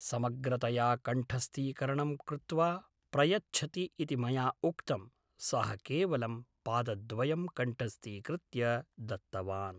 समग्रतया कण्ठस्थीकरणं कृत्वा प्रयच्छति इति मया उक्तं सः केवलं पादद्वयम् कण्ठस्थीकृत्य दत्तवान्